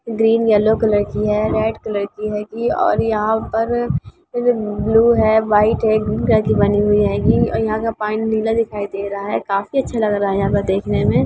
Green yellow colour की है red colour की हेगी और यहां पर ब्लू है व्हाइट है ग्रीन कलर की बनी हुई हेगी और यहां का पानी नीला दिखाई दे रहा है काफी अच्छा लग रहा है यहां पर देखने में।